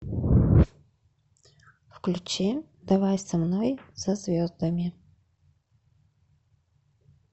включи давай со мной за звездами